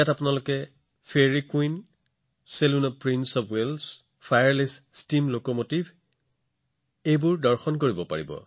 আপোনালোকে ইয়াত fairy queen prince of ৱেলছৰ চেলুনৰ পৰা আৰম্ভ কৰি ফায়াৰলেছ ষ্টীম লোকোমোটিভো দেখা পাব পাৰে